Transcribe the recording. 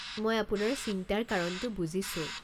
মই আপোনাৰ চিন্তাৰ কাৰণটো বুজিছো।